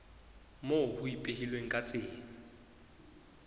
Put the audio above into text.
moo ho ipehilweng ka tsela